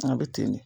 An bɛ ten de